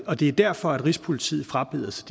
og det er derfor at rigspolitiet frabeder sig